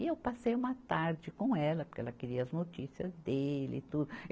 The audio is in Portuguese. E eu passei uma tarde com ela, porque ela queria as notícias dele e tudo.